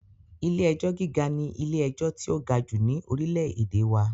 Ilé-ẹjọ gíga ní ilé-ẹjọ tí o ga jù ni orílè-èdè wà